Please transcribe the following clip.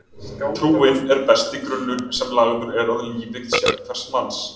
Trúin er besti grunnur sem lagður er að lífi sérhvers manns.